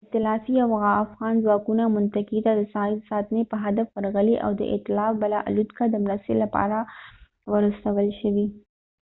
ایتلافي او افغان ځواکونه منطقې ته د ساحې د ساتنې په هدف ورغلي او د ایتلاف بله الوتکه د مرستې لپاره ور استول شوې